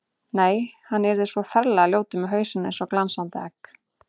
Nei, hann yrði svo ferlega ljótur með hausinn eins og glansandi egg.